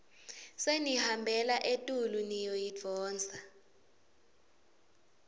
senihambela etulu niyoyidvonsa